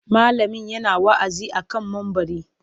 Malamin yana wa'azi a kan mumbari.